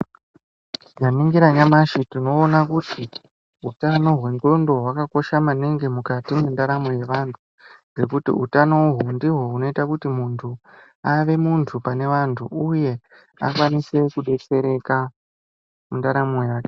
Tikaningire nyamashi tinoona kuti utano hwendxondo hwakakosha maningi mukati mwendaramo yevantu. Ngekuti utano uhwu ndihwo hunoita kuti muntu ave muntu pane vantu uye akwanise kudetsereka mundaramo yake.